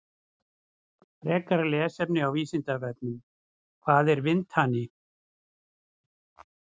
Frekara lesefni á Vísindavefnum: Hvað er vindhani?